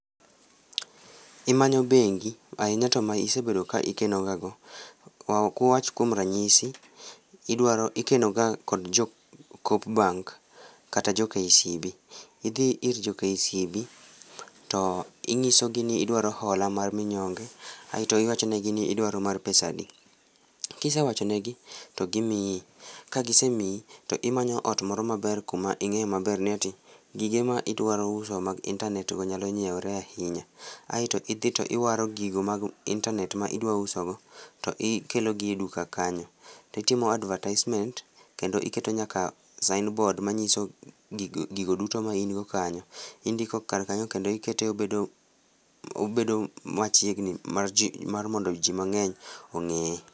Imanyo bengi ahinya to ma isebedo ka ikeno ga go. Wawach kuom ranyisi, idwaro, idwaro, ikeno ga kod jo Coop bank kata jo KCB,idhi ir jo KCB tinyisogi nidwaro hola mar minyonge aito iwachonegi ni idwaro mar pesa adi, kisewacho negi to gimiyi. Ka gisemiyi to imanyo ot moro maber kuma ing'e maber ni ati gige ma idwaro us mag intanet go nyalo nyiewre maber ahinya, aita idhi to iwaro gige mag intanet ma idwaro uso tikelo gi e duka kanyo titimo advertisement kendo iketo nyaka signboard manyiso gigo duto main go kanyo, indiko kar kanyo kendo iketo obedo machiegni mar jii mar mondo jii mang'eny ongeye